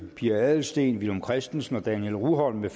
pia adelsteen villum christensen og daniel rugholm